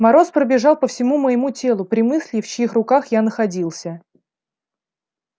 мороз пробежал по всему моему телу при мысли в чьих руках я находился